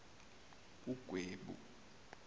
ugwebu